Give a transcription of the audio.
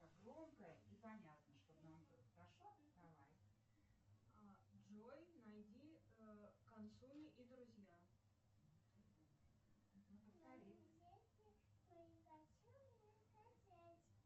джой найди консоль и друзья